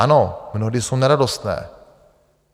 Ano, mnohdy jsou neradostné.